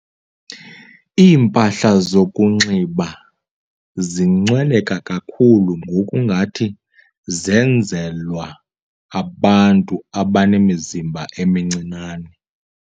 Iimpahla zokunxiba zincweleka kakhulu ngoku ngathi zenzelwa abantu abanemizimba emincinane.